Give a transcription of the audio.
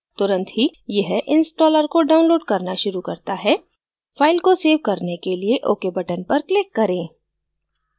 तुंरत ही यह installer को डाउनलोड करना शुरू करता है फाइल को सेव करने के लिए ok button पर click करें